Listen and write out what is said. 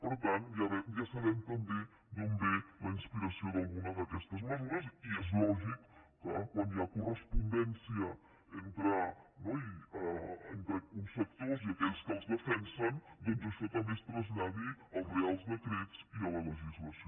per tant ja sabem també d’on ve la inspiració d’alguna d’aquestes mesures i és lògic que quan hi ha correspondència entre uns sectors i aquells que els defensen doncs això també es traslladi als reials decrets i a la legislació